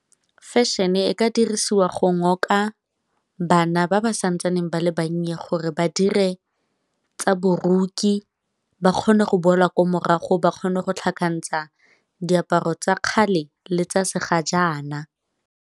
Fashion e ka dirisiwa go ngoka bana ba ba santsaneng ba le bannye gore badire tsa boruki ba kgone go boela ko morago, ba kgone go tlhakantsha diaparo tsa kgale le tsa se ga jaana.